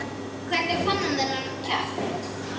Hvernig fann hann þennan kraft?